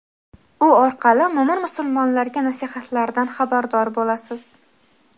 u orqali mo‘min-musulmonlarga nasihatlaridan xabardor bo‘lasiz.